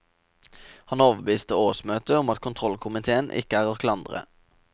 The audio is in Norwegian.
Han overbeviste årsmøtet om at kontrollkomiteen ikke er å klandre.